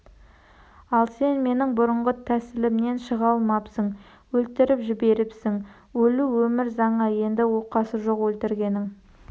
ал сен менің бұрынғы тәсілімнен шыға алмапсың өлтіріп жіберіпсің өлу өмір заңы енді оқасы жоқ өлтіргенің